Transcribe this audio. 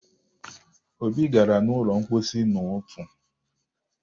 Obi gara n'ụlọ mposi n'ụtụ